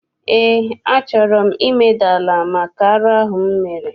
Eé, a chọrọ m imeda ala maka arụ ahụ m mere.